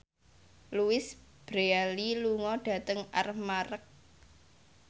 Louise Brealey lunga dhateng Armargh